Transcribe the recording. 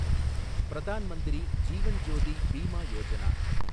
Pradhan Mantri Jeevan Jyoti Bima Yojana